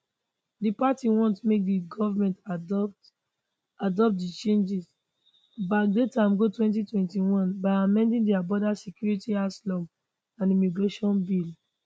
di party want make di government adopt adopt di changes backdate am go 2021 by amending dia border security asylum and immigration bill